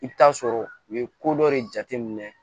I bɛ taa sɔrɔ u ye ko dɔ de jateminɛ